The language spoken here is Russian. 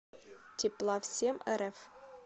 тепла всемрф